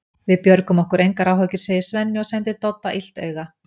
Við björgum okkur, engar áhyggjur, segir Svenni og sendir Dodda illt auga.